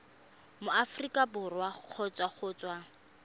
aforika borwa kgotsa go tswa